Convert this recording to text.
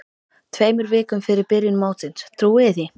Tveimur vikum fyrir byrjun mótsins, trúiði því?